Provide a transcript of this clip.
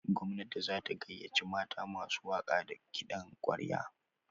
Gwamnati za ta gayyaci mata masu waƙa da kiɗan ƙwarya.